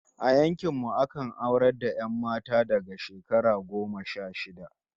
A yankin mu akan aurar da 'yan mata daga shekara goma sha shida